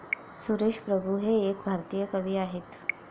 सुरेश प्रभू हे एक भारतीय कवी आहेत.